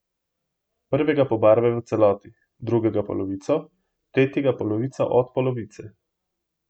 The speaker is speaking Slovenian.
Prvega pobarvaj v celoti, drugega polovico, tretjega polovico od polovice.